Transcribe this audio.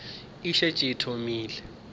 e šetše e thomile go